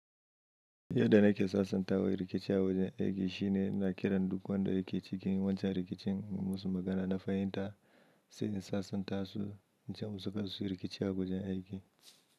Yadda na ke sasanta wa rikici a wajen aiki shine ina kiran duk wanda yake cikin wancan rikicin mu musu magana na fahimta sai in sasanta su ince musu karsuyi rikici a wajen aiki.